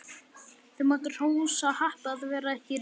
Þau máttu hrósa happi að vera ekki rekin.